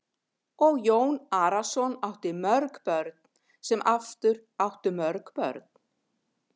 Og Jón Arason átti mörg börn sem aftur áttu mörg börn.